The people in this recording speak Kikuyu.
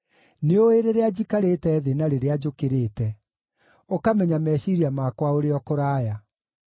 Nĩũĩ rĩrĩa njikarĩte thĩ na rĩrĩa njũkĩrĩte ũkamenya meciiria makwa ũrĩ o kũraya.